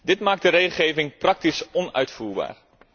Dit maakt de regelgeving praktisch onuitvoerbaar.